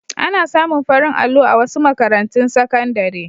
Ana samu farin allo a wasu makarantun sakandare.